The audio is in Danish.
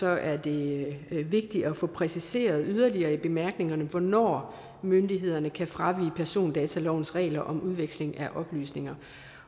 er det vigtigt at få præciseret yderligere i bemærkningerne hvornår myndighederne kan fravige persondatalovens regler om udveksling af oplysninger